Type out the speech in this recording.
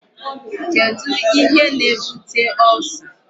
Kedu ihe na-ebute Ulcer?